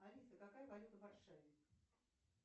алиса какая валюта в варшаве